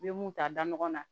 I bɛ mun ta da ɲɔgɔn na